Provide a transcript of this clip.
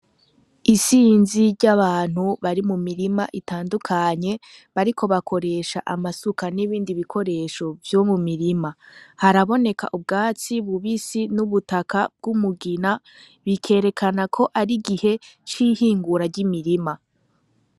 Isinzi ry'abantu bari mu mirima itandukanye bari ko bakoresha amasuka n'ibindi bikoresho vyo mu mirima haraboneka ubwatsi bubisi n'ubutaka bw'umugina bikerekana ko ari gihe cihingura ry'imirima.